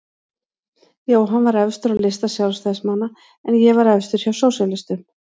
Jóhann var efstur á lista Sjálfstæðismanna en ég var efstur hjá sósíalistum.